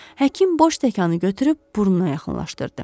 Həkim boş stəkanı götürüb burnuna yaxınlaşdırdı.